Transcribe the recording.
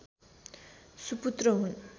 सुपुत्र हुन्